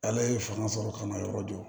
Ale ye fanga sɔrɔ ka na yɔrɔ jɔ